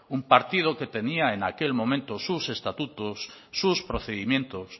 un partido que tenía en aquel momento sus estatutos sus procedimientos